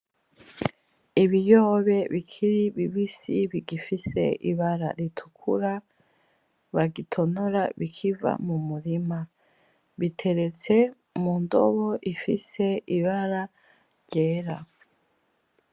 Ibiyobe bikiri bibisi bigifise ibara ritukura bagitonora bikiva mumurima , biteretse mundobo ifise ibara ryera .